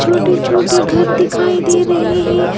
छोटे छोटे घर दिखाई दे रहे हैं।